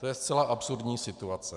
To je zcela absurdní situace.